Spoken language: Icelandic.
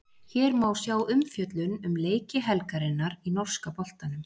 Hér má sjá umfjöllun um leiki helgarinnar í norska boltanum.